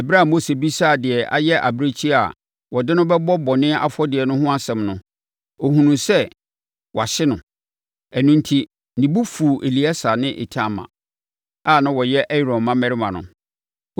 Ɛberɛ a Mose bisaa deɛ ayɛ abirekyie a wɔde no bɛbɔ bɔne afɔdeɛ no ho asɛm no, ɔhunuu sɛ wɔahye no. Ɛno enti, ne bo fuu Eleasa ne Itamar a na wɔyɛ Aaron mmammarima no.